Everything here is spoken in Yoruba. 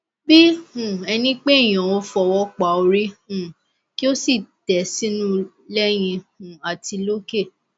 bí um ẹni pé èèyàn ó fọwọ pa orí um kí ó sì tẹ sínú lẹyìn um àti lókè